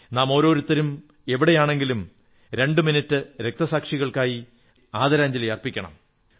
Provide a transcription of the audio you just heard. നാം ഓരോരുത്തരും എവിടെയാണെങ്കിലും രണ്ട് മിനിട്ട് രക്ഷസാക്ഷികൾക്കായി ആദരാഞ്ജലി അർപ്പിക്കണം